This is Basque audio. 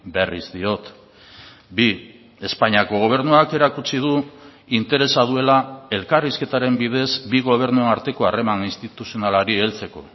berriz diot bi espainiako gobernuak erakutsi du interesa duela elkarrizketaren bidez bi gobernuen arteko harreman instituzionalari heltzeko